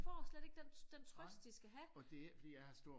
De får slet ikke den trøst de skal have